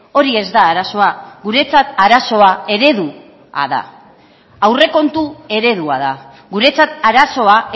hori ez da arazoa guretzat arazoa eredua da aurrekontu eredua da guretzat arazoa